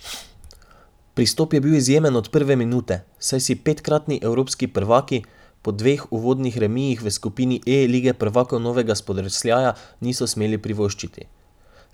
Pristop je bil izjemen od prve minute, saj si petkratni evropski prvaki po dveh uvodnih remijih v skupini E Lige prvakov novega spodrsljaja niso smeli privoščiti.